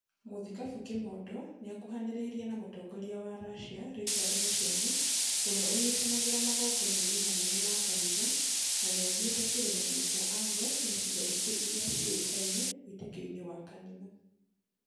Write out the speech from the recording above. Mũthikabu Kimondo nĩakuhanĩrĩirie na mũtongoria wa Russia Richard Muchemi, ũria ũnyitanagĩra magongo-inĩ manene ma kanitha na nĩathiĩte kĩrĩma-inĩ gia Athos na icigo ingĩ irĩa cĩũĩkaine wĩtĩkio-inĩ wa kanitha